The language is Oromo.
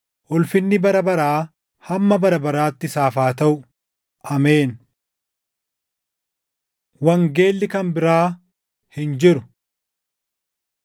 ulfinni bara baraa hamma bara baraatti isaaf haa taʼu. Ameen. Wangeelli Kan Biraa Hin jiru